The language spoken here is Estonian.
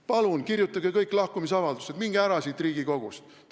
Palun kirjutage kõik lahkumisavaldus, minge ära siit Riigikogust!